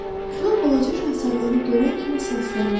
Kral balaca Şahzadəni görən kimi səsləndi.